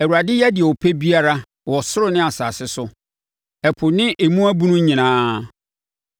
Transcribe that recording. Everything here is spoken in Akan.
Awurade yɛ deɛ ɔpɛ biara, wɔ ɔsoro ne asase so, ɛpo ne emu abunu nyinaa.